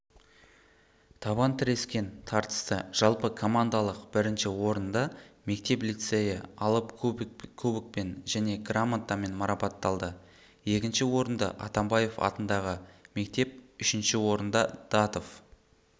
табан тірескен тартысты жалпы командалық бірінші орында мектеп-лицейі алып кубокпен және грамотамен марапатталды екінші орынды атамбаев атындағы мектеп үшінші орында датов